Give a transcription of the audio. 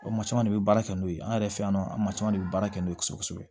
maa caman de bɛ baara kɛ n'o ye an yɛrɛ fɛ yan nɔ an maa caman de bɛ baara kɛ n'o ye kosɛbɛ kosɛbɛ